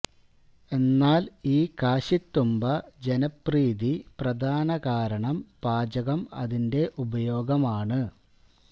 എന്നാൽ ഈ കാശിത്തുമ്പ ജനപ്രീതി പ്രധാന കാരണം പാചകം അതിന്റെ ഉപയോഗം ആണ്